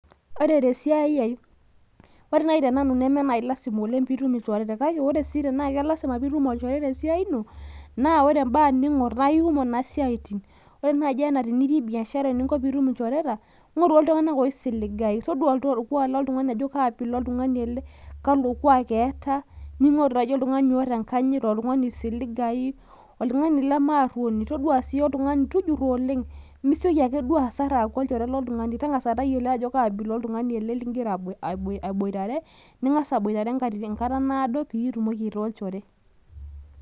ore te siai ai, ore naaji tenanu neme naai lasima oleng pee itum ilchoreta, kake ore sii tenitum ilchoreta te siai ino, naa ore ibaa ing'or naa kikumok isaitin, ore naaji anaa tenitii biashara eninko tenitm ilchoreta, ing'oru iltunganak oisiligayu, toduaa orkuaak loltung'ani ajo kalo kuaak eeta. ning'oru naaji oltung'ani oota enkanyit, oltungani oisiligayu, oltung'ani lemearuoni, toduaa sii oltung'ani, tujuro oleng' misioki ake duo asar, aaku olchore lotungani, tang'asa tayiolo ajo kaabila oltungani ele ligira aboitare, pee itumoki aitaa olchore.